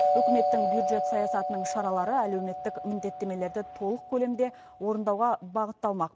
үкіметтің бюджет саясатының шаралары әлеуметтік міндеттемелерді толық көлемде орындауға бағытталмақ